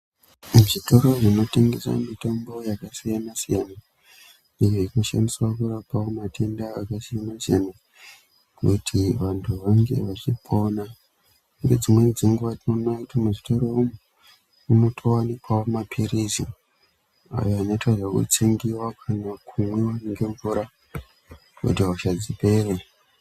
Muzvitoro zvinotengeswa mitombo yakasiyana siyana iyo inoshandiswa kurapawo matenda akasiyana siyana kuti vantu vange vachipona. Nedzimweni dzenguva tinoona kti muzvitoro umu munotowanikwawo maphirizi ayo anoitwa zvekutsengiwa kana kunwa ngemvura kuti hosha dzipere.